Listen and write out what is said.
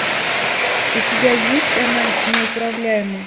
у тебя есть она неуправляема